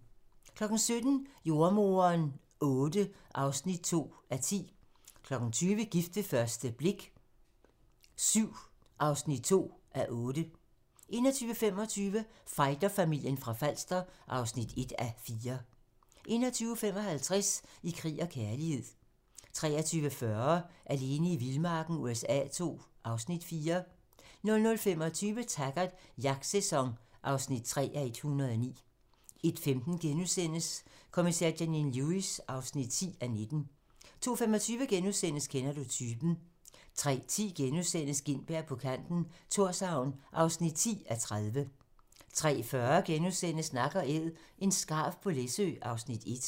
17:00: Jordemoderen VIII (2:10) 20:00: Gift ved første blik VII (2:8) 21:25: Fighterfamilien fra Falster (1:4) 21:55: I krig og kærlighed 23:40: Alene i vildmarken USA II (Afs. 4) 00:25: Taggart: Jagtsæson (3:109) 01:15: Kommissær Janine Lewis (10:19)* 02:25: Kender du typen? * 03:10: Gintberg på kanten - Thorshavn (10:30)* 03:40: Nak & æd - en skarv på Læsø (Afs. 1)*